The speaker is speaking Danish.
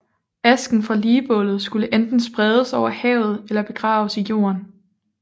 Asken fra ligbålet skulle enten spredes over havet eller begraves i jorden